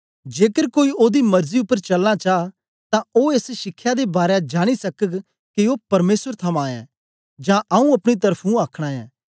जेकर कोई ओदी मरजी उपर चलना चा तां ओ एस शिखया दे बारै जानी सकग के ओ परमेसर थमां ऐ जां आऊँ अपनी त्र्फुं आखना ऐ